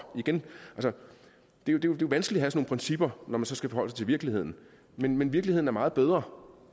det er jo vanskeligt at have principper når man så skal forholde sig til virkeligheden men men virkeligheden er meget bedre